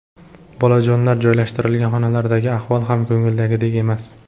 Bolajonlar joylashtirilgan xonalardagi ahvol ham ko‘ngildagidek emas.